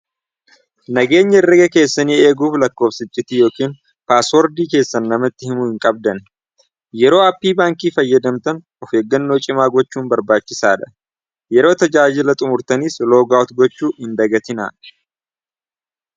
Nageenya herrega keessanii eeguuf lakkoofsa icciitii yookiin paaswordii keessan namatti himuu hin qabdan. Yeroo aappii baankii fayyadamtan of eeggannoo cimaa gochuun barbaachisaadha. Yeroo tajaajila xumurtaniis loogaa'ut gochuu hin dagatinaa.